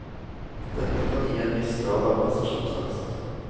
Dette kan gi en viss grad av prestasjonsangst.